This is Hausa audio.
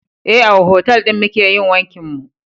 Eh, a otal ɗin muke yin wankin mu